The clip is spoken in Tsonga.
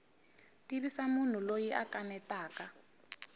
tivisa munhu loyi a kanetaka